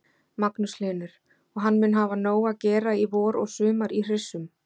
Magnús Hlynur: Og hann mun hafa nóg að gera í vor og sumar í hryssum?